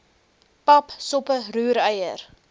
pap soppe roereier